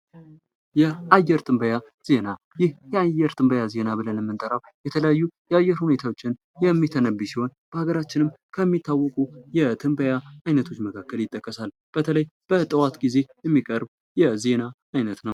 የአየር ትንበያ ዜና የአየር ትንበያ ዜና ብለን የምንጠራው የተለያዩ የአየር ሁኔታዎችን የሚተነብይ ሲሆን በሀገራችንም ከሚታወቁ የትንበያ አይነቶች መካከል ይጠቀሳል በተለይ በጠዋት ጊዜ የሚቀርብ የዜና አይነት ነው።